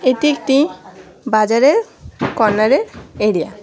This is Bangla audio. এটি একটি বাজারের কর্নারের এরিয়া ।